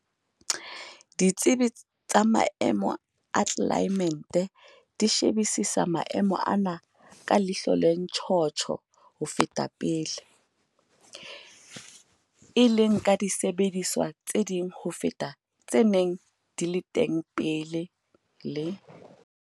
Ditsebi tsa maemo a tlelaemete di shebisisa maemo ana ka ihlo le ntjhotjho ho feta pele, e leng ka disebediswa tse ding ho feta tse neng di le teng pele, le